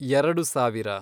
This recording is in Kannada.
ಎರಡು ಸಾವಿರ